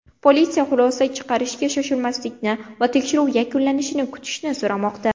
Politsiya xulosa chiqarishga shoshmaslikni va tekshiruv yakunlanishini kutishni so‘ramoqda.